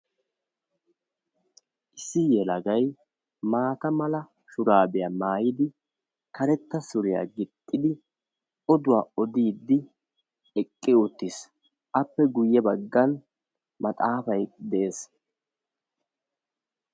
issi yelagay maata mala shuraabiya mayyidi karetta suriya gixxidi oduwa odiiddi eqqi uttis. appe guyye baggan maxxaafay de'es.